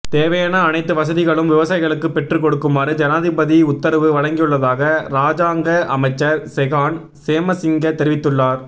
தேவையான அனைத்து வசதிகளையும் விவசாயிகளுக்கு பெற்று கொடுக்குமாறு ஜனாதிபதி உத்தரவு வழங்கியுள்ளதாக ராஜாங்க அமைச்சர் செஹான் சேமசிங்க தெரிவித்துள்ளார்